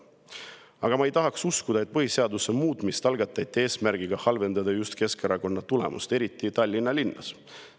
Aga ma ei tahaks uskuda, et põhiseaduse muutmine algatati eesmärgiga halvendada just Keskerakonna tulemust, eriti Tallinna linnas.